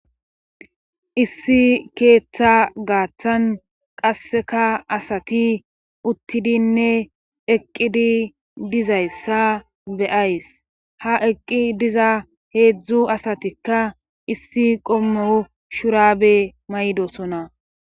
Issi keeththa gaaththan qasseka asati uttidinne eqqidi dizayssa beyays ha eqqi diza heedzdzu asatikka issi qommou shuraabe maydosona